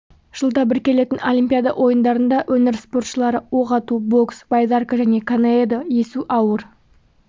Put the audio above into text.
жылда бір келетін олимпиада ойындарында өңір спортшылары оқ ату бокс байдарка және каноэда есу ауыр